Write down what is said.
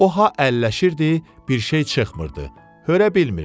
O ha əlləşirdi, bir şey çıxmırdı, hörüə bilmirdi.